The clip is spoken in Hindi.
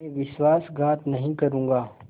मैं विश्वासघात नहीं करूँगा